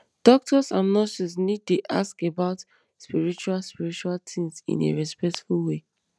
doctors and nurses need dey ask about spiritual spiritual things in a respectful way